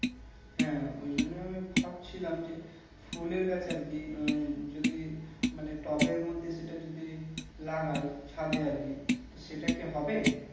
হ্যাঁ ওই জন্য ভাবছিলাম যে ফুলের গাছ আরকি উম যদি মানে টবের মধ্যে সেটা যদি লাগাই ছাদে আরকি সেটা কি হবে